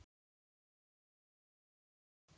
Hvað heitir hún?